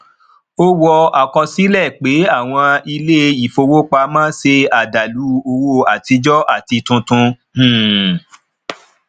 o wọ akọsilẹ pé àwọn ilé ìfowópamọ ṣe adalu owó atijọ àti tuntun um